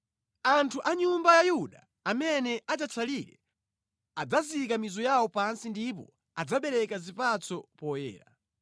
Anthu a nyumba ya Yuda amene adzatsalire adzazika mizu yawo pansi ndipo adzabereka zipatso poyera.